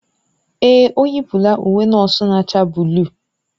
Èè, o yipụla uwe nọọsụ na-acha buluu.